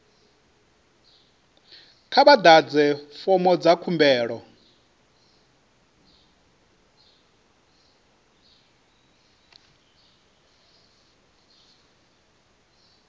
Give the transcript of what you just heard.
kha vha ḓadze fomo dza khumbelo